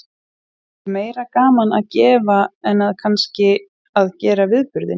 Er meira gaman að gefa en að kannski að gera viðburðinn?